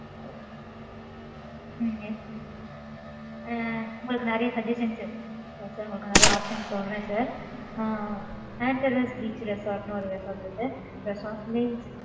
yes ஆ உங்களுக்கு நிறைய suggestions இருக்கு உங்களுக்கு நிறைய options சொல்றேன், sir Anteras beach resort ன்னு, ஒரு resort இருக்கு. Resort name